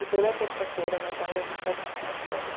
E toda terça-feira meu pai ia buscar a gente na escola.